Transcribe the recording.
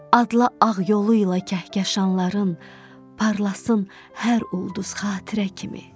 Adla ağ yolu ilə kəhkəşanların, parlasın hər ulduz xatirə kimi.